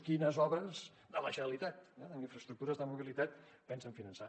quines obres de la generalitat en infraestructures de mobilitat pensen finançar